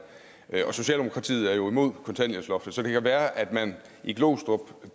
og socialdemokratiet er imod kontanthjælpsloftet så det kan være at man i glostrup